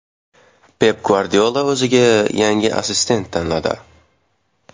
Pep Gvardiola o‘ziga yangi assistent tanladi.